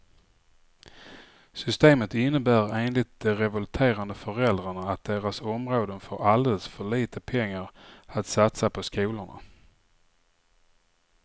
Systemet innebär enligt de revolterande föräldrarna att deras områden får alldeles för lite pengar att satsa på skolorna.